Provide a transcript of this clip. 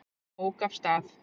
Ók af stað